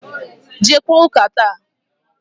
Jeekwa ụ́kà tata!